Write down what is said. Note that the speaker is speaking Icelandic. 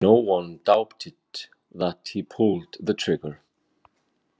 No one doubted that he pulled the trigger.